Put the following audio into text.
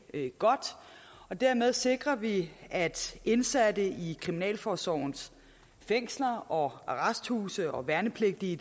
godt dermed sikrer vi at indsatte i kriminalforsorgens fængsler og arresthuse og værnepligtige